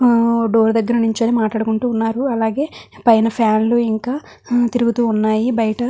Door దగిర నించుని మాట్లాడుకుంటున్నారు. అలాగే పైన ఫ్యాన్లు ఇంకా తిరుగుతూ ఉన్నాయి. బయట --